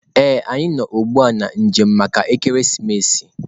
Ee, anyị nọ ugbu a na njem maka ekeresimesi.